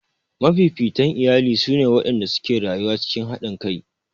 Mafifitan iyalai su ne waɗanda suke rayuwa cikin haɗinkai